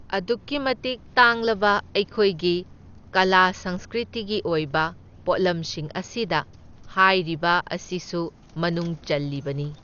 ꯑꯗꯨꯛꯀꯤ ꯃꯇꯤꯛ ꯇꯥꯡꯂꯕ ꯑꯩꯈꯣꯏꯒꯤ ꯀꯂꯥ ꯁꯪꯁꯀ꯭ꯔꯤꯇꯤꯒꯤ ꯑꯣꯏꯕ ꯄꯣꯠꯂꯝꯁꯤꯡ ꯑꯁꯤꯗ ꯍꯥꯏꯔꯤꯕ ꯑꯁꯤꯁꯨ ꯃꯅꯨꯡ ꯆꯜꯂꯤꯕꯅꯤ꯫